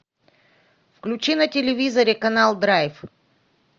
включи на телевизоре канал драйв